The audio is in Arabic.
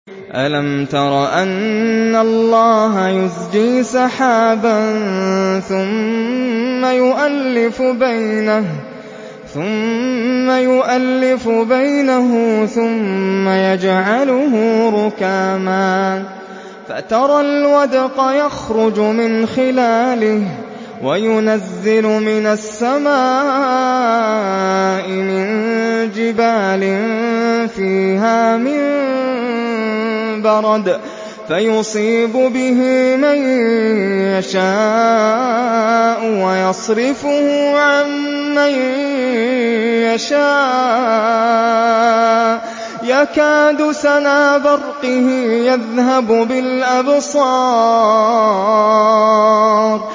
أَلَمْ تَرَ أَنَّ اللَّهَ يُزْجِي سَحَابًا ثُمَّ يُؤَلِّفُ بَيْنَهُ ثُمَّ يَجْعَلُهُ رُكَامًا فَتَرَى الْوَدْقَ يَخْرُجُ مِنْ خِلَالِهِ وَيُنَزِّلُ مِنَ السَّمَاءِ مِن جِبَالٍ فِيهَا مِن بَرَدٍ فَيُصِيبُ بِهِ مَن يَشَاءُ وَيَصْرِفُهُ عَن مَّن يَشَاءُ ۖ يَكَادُ سَنَا بَرْقِهِ يَذْهَبُ بِالْأَبْصَارِ